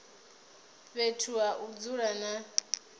fhethu ha u dzula na